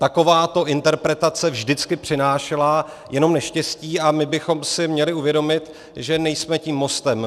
Takováto interpretace vždycky přinášela jenom neštěstí a my bychom si měli uvědomit, že nejsme tím mostem.